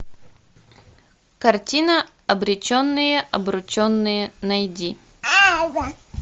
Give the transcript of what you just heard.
картина обреченные обрученные найди